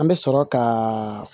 An bɛ sɔrɔ ka